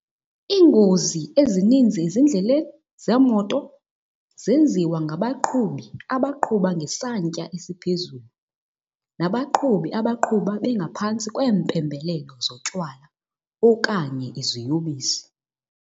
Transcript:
Iingozi ezininzi ezindleleni zeemoto zenziwa ngabaqhubi abaqhuba ngesantya esiphezulu nabaqhubi abaqhuba bengaphantsi kweempembelelo zotywala okanye iziyobisi.